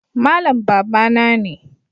Malam babana ne